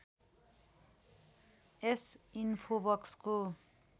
यस इन्फोबक्सको